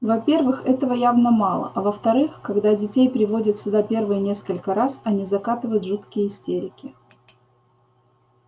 во-первых этого явно мало а во-вторых когда детей приводят сюда первые несколько раз они закатывают жуткие истерики